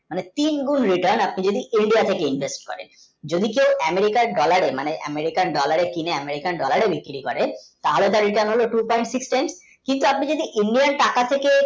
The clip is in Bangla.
মানে তিন গুন্ written আপনি যদি india থেকে invest করেন যদি কেই America কার dollar মানে America dollar বিক্রি করেন তাহলে কিন্তু আপনি যদি এমনি আর টাকা থেকে